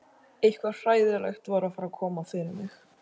Eitthvað hræðilegt var að fara að koma fyrir mig.